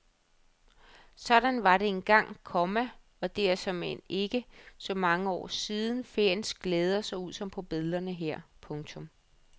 Sådan var det engang, komma og det er såmænd ikke så mange år siden feriens glæder så ud som på billederne her. punktum